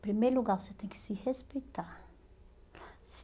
Em primeiro lugar, você tem que se respeitar.